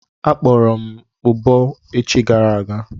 Akpọrọ m ụbọ echi gara aga.